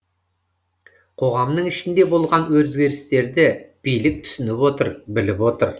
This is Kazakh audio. қоғамның ішінде болған өзгерістерді билік түсініп отыр біліп отыр